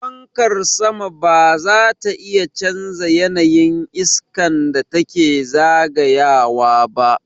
Fankar sama ba zata iya canza yanayin iskan da take zagayawa ba.